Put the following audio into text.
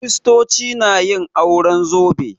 Kiristoci na yin auren zobe